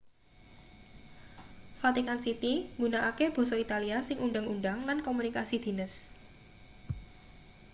vatican city nggunakake basa italia ing undhang-undhang lan komunikasi dhines